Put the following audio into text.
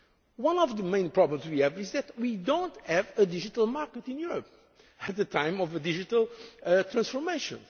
specifically. One of the main problems we have is that we do not have a digital market in Europe at this time of digital